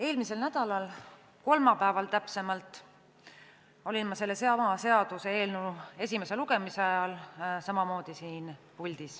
Eelmisel nädalal, täpsemalt kolmapäeval olin ma sellesama seaduseelnõu esimese lugemise ajal samamoodi siin puldis.